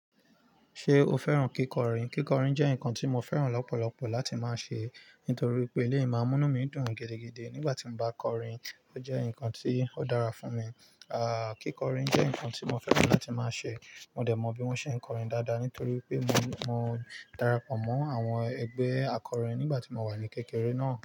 Ṣé o fẹ́ràn kíkọrin? Kíkọrin jẹ́ nǹkan tí mo fẹ́ràn lọ́pọ̀lọpọ̀ láti máa ṣe, nítorí pé eleyì maa n munumi mi dùn gidigidi nígbà tí mo bá kọrin. Ó jẹ́ nǹkan tí ó dára fún mi. Kíkọrin jẹ́ nǹkan tí mo fẹ́ràn láti máa ṣe. Mo dẹ̀ mọ bí wọ́n ṣe ń kọrin dáadáa, nítorí pé mo, mo darapọ̀ mọ́ àwọn ẹgbẹ́ akọrin nígbà tí mo wà ní kékeré náà.